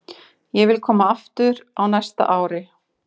Ég vil koma aftur á næsta ári.